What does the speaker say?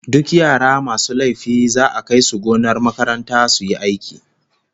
Duk yara masu laifi za'a kai su gonar makaranta su yi aiki